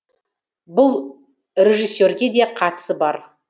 бұл режиссерге де қатысы бар